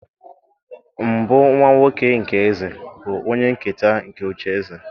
mbụ nwa-nwoke nke eze bụ onye-nketa nke oche-eze.